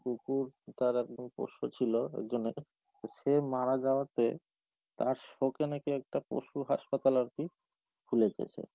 কুকুর তার একদম পোষ্য ছিল একজনের, সে মারা যাওয়াতে তার শোকে নাকি একটা পশু হাসপাতাল আর কি খুলেছে সে।